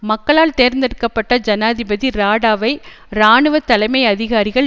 மக்களால் தேர்ந்தெடுக்க பட்ட ஜனாதிபதி ராடாவை இராணுவ தலைமை அதிகாரிகள்